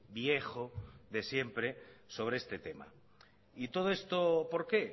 viejo de siempre sobre este tema y todo esto por qué